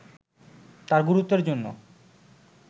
তার গুরুত্বের জন্য